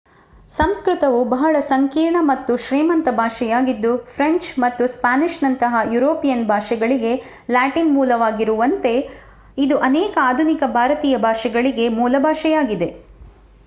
ಸಂಸ್ಕೃತವು ಬಹಳ ಸಂಕೀರ್ಣ ಮತ್ತು ಶ್ರೀಮಂತ ಭಾಷೆಯಾಗಿದ್ದು ಫ್ರೆಂಚ್ ಮತ್ತು ಸ್ಪ್ಯಾನಿಷ್‌ನಂತಹ ಯುರೋಪಿಯನ್ ಭಾಷೆಗಳಿಗೆ ಲ್ಯಾಟಿನ್ ಮೂಲವಾಗಿಗಿರುವಂತೆ ಇದು ಅನೇಕ ಆಧುನಿಕ ಭಾರತೀಯ ಭಾಷೆಗಳಿಗೆ ಮೂಲಭಾಷೆಯಾಗಿದೆ,